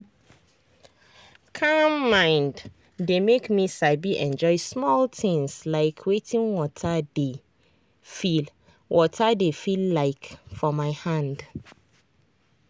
calm mind dey make me sabi enjoy small things like wetin water dey feel water dey feel like for hand.